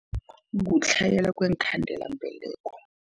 Kutlhayela kweenkhandelambeleko.